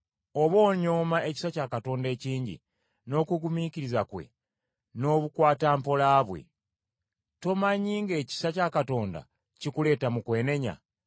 Oba onyooma ekisa kya Katonda ekingi, n’okugumiikiriza kwe n’obukwatampola bwe? Tomanyi ng’ekisa kya Katonda kikuleeta mu kwenenya?